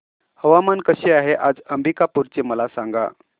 हवामान कसे आहे आज अंबिकापूर चे मला सांगा